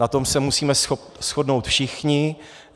Na tom se musíme shodnout všichni.